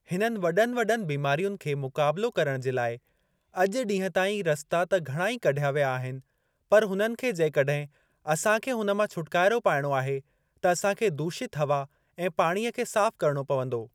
हिननि वॾनि वॾनि बीमारियुनि खे मुक़ाबलो करण जे लाइ अॼु ॾीहुं ताईं रस्ता त घणा ही कढिया विया आहिनि पर हुननि खे जेकॾहिं असांखे हुन मां छुटकारो पाइणो आहे त असांखे दूषितु हवा ऐं पाणीअ खे साफ़ करणो पवंदो।